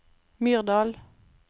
Myrdal